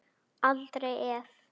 Aldrei efi.